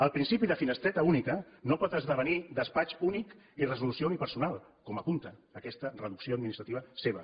el principi de finestreta única no pot esdevenir despatx únic i resolució unipersonal com apunta aquesta reducció administrativa seva